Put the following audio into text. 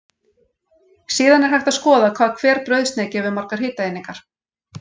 Síðan er hægt að skoða hvað hver brauðsneið gefur margar hitaeiningar.